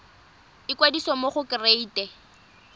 ikwadisa mo go kereite r